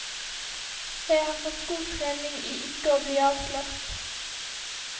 Jeg har fått god trening i ikke å bli avslørt.